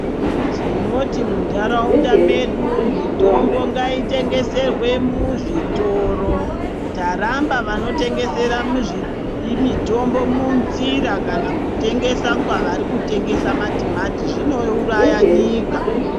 Tinoti mundaraunda mwedu mitombo ngai tengeswerwe muzvitoro taramba vanotengesa mitombo mu zira kana kutengesa kunge vano tengesa matimati zvinouraya nyika.